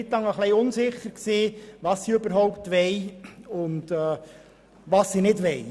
Deshalb war ich eine Weile lang unsicher und wusste nicht, was die Spitex überhaupt will oder nicht will.